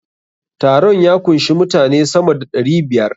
Taron ya kunshi mutane sama da ɗari biyar.